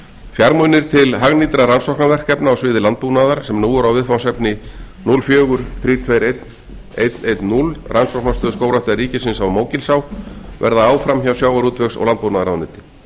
fjármunir til hagnýtra rannsóknarverkefna á sviði landbúnaðar sem nú er viðfangsefni núll fjórar milljónir og þrjú hundruð tuttugu og eitt þúsund hundrað og tíu rannsóknarstöð skógræktar ríkisins á mógilsá verða áfram hjá sjávarútvegs og landbúnaðarráðuneyti